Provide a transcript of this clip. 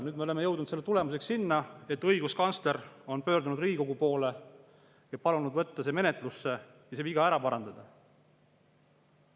Nüüd me oleme jõudnud selle tulemusena sinna, et õiguskantsler on pöördunud Riigikogu poole, palunud võtta see menetlusse ja see viga ära parandada.